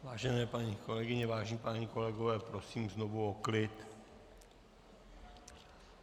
Vážené paní kolegyně, vážení páni kolegové, prosím znovu o klid.